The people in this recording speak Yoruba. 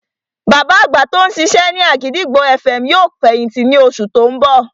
Bàbá àgbà tí ó ń ṣiṣẹ́ ní àgìdìgbò FM yóò fẹ̀yìntì ní oṣù tí ó ń bọ̀